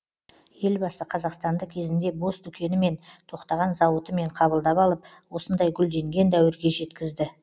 елбасы қазақстанды кезінде бос дүкенімен тоқтаған зауытымен қабылдап алып осындай гүлденген дәуірге жеткізді